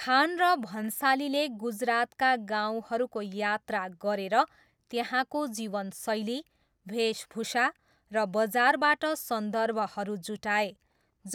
खान र भन्सालीले गुजरातका गाउँहरूको यात्रा गरेर त्यहाँको जीवनशैली, वेशभूषा र बजारबाट सन्दर्भहरू जुटाए,